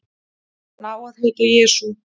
Hann á að heita Jesú.